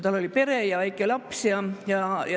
Tal oli pere ja väike laps.